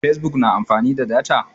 fesbuk na amfani da data